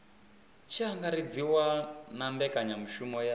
tshi angaredziwa na mbekanyamaitele ya